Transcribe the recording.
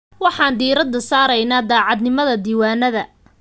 Waxaan diirada saareynaa daacadnimada diiwaannada.